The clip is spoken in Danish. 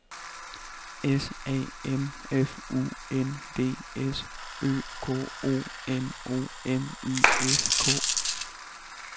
S A M F U N D S Ø K O N O M I S K